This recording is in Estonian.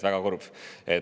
Väga kurb.